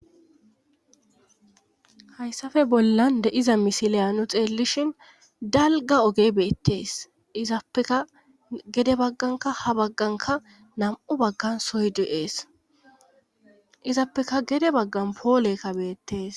Hayssafe bollan de iza misiliya nu xeellishin dalga oge beettees izappeka gede bagganka ha bagganka nam7u baggan soydu7ees izappeka gede baggan poolekka beettees.